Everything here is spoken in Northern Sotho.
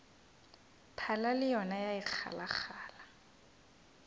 phala le yona ya ikgalagala